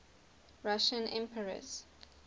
russian emperors